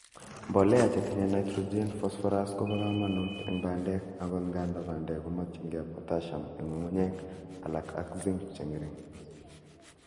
Mbolea che tinye nitrogen , phosphorous kobo kamanut en bandes, agot ngandan bandek komokyingei potassium en ngu'ng'unyek alak ak Zinc che ngering.